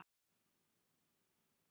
Varað við ferðalögum til Japans